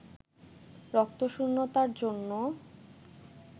রক্তশূন্যতার জন্যে